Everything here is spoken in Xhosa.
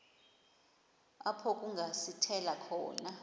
apho kungasithela khona